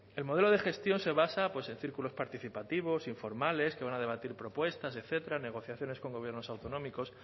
el modelo de gestión se basa en círculos participativos informales que van a debatir propuestas etcétera negociaciones con gobiernos autonómicos